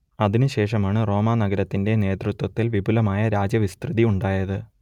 അതിനുശേഷമാണ് റോമാനഗരത്തിന്റെ നേതൃത്വത്തിൽ വിപുലമായ രാജ്യവിസ്തൃതി ഉണ്ടായത്